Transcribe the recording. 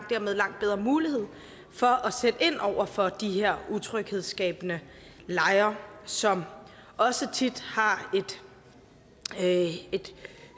dermed langt bedre mulighed for at sætte ind over for de her utryghedsskabende lejre som også tit har et